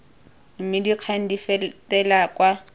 mme dikgang di fetele kwa